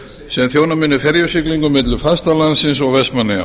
sem þjóna muni ferjusiglingum milli fastalandsins og vestmannaeyja